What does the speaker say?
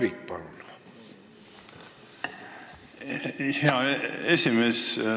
Aitäh, hea esimees!